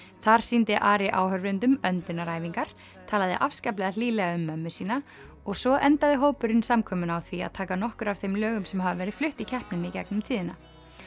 þar sýndi Ari áhorfendum öndunaræfingar talaði afskaplega hlýlega um mömmu sína og svo endaði hópurinn samkomuna á því að taka nokkur af þeim lögum sem hafa verið flutt í keppninni í gegnum tíðina